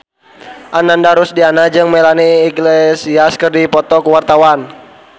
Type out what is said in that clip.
Ananda Rusdiana jeung Melanie Iglesias keur dipoto ku wartawan